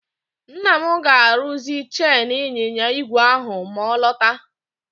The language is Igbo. Nna m ga-arụzi chen ịnyịnya ígwè ahụ ma ọ lọta.